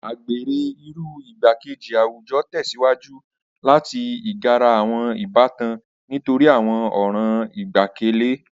Agbere, iru igbakeji awujọ, tẹsiwaju lati igara awọn ibatan nitori awọn ọran igbẹkẹle.